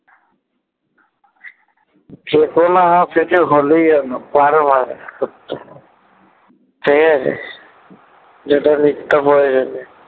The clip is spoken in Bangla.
ঠিক আছে